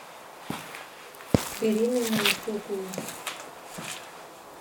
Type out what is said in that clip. беременные куклы